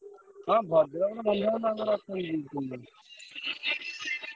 ହଁ ଭଦ୍ରକରେ ବନ୍ଧୁବାନ୍ଧବ ଆମର ଅଛନ୍ତି ଦି ତିନିଟା।